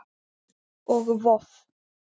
og Voff